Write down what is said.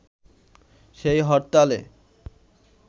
সেই হরতালে